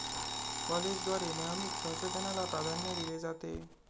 कॉलेजद्वारे नेहमीच संशोधनाला प्राधान्य दिले जाते.